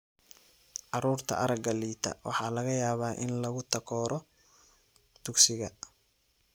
Carruurta aragga liita waxaa laga yaabaa in lagu takooro dugsiga.